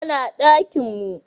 Ya na dakinmu